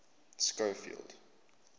schofield